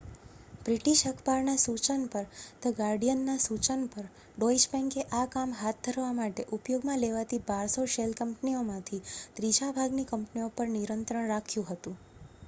"British અખબારના સૂચન પર "ધ ગાર્ડિયન" ના સૂચન પર ડોઇશ બેન્કે આ કામ હાથ ધરવા માટે ઉપયોગમાં લેવાતી 1200 શેલ કંપનીઓમાંથી ત્રીજા ભાગની કંપનીઓ પર નિયંત્રણ રાખ્યું હતું.